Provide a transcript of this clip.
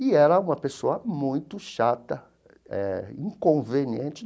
E era uma pessoa muito chata eh, inconveniente.